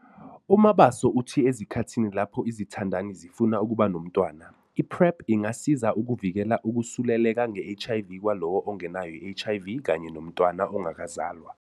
UMabaso uthi ezikhathini lapho izithandani zifuna ukuba nomntwana, i-PrEP ingasiza ukuvikela ukusuleleka nge-HIV kwalowo ongenayo i-HIV kanye nomntwana ongakazalwa.